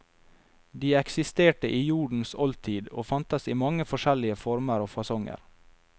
De eksisterte i jordens oldtid og fantes i mange forskjellige former og fasonger.